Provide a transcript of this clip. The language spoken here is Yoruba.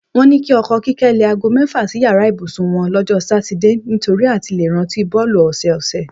Wó̩n ní o̩ko̩ Kíké̩ le̩ aago mé̩fà sí yàrá ìbùsùn wo̩n ló̩jó̩ Sátidé nitori àti le rántí bó̩ò̩lù ò̩sò̩ò̩sè̩.